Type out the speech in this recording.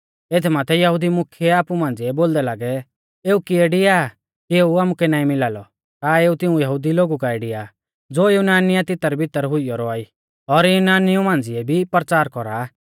एथ माथै यहुदी मुख्यै आपु मांझ़िऐ बोलदै लागै एऊ किऐ डिआ कि एऊ आमुकै नाईं मिला लौ का एऊ तिऊं यहुदी लोगु काऐ डिआ ज़ो युनानिया दी तितरबितर हुइयौ रौआ ई और युनानिऊ मांझ़िऐ भी परचार कौरा